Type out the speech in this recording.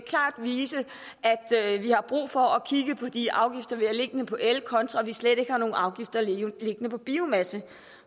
vise at vi har brug for at kigge på de afgifter vi har liggende på el kontra at vi slet ikke har nogen afgifter liggende på biomasse